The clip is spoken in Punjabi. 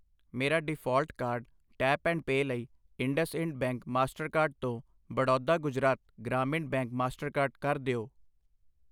ਮੇਰਾ default card tap and pay ਲਈ ਇੰਡਸਇੰਡ ਬੈਂਕ ਮਾਸਟਰਕਾਰਡ ਤੋਂ ਬੜੌਦਾ ਗੁਜਰਾਤ ਗ੍ਰਾਮੀਣ ਬੈਂਕ ਮਾਸਟਰਕਾਰਡ ਕਰ ਦਿਓ।